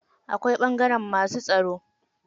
Akwai ɓangaren masu tsaro.